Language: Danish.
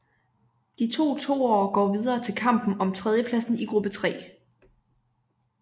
De to toere går videre til kampen om tredjepladsen i gruppe 3